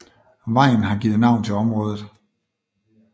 Vejen har givet navn til området